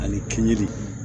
Ani kinji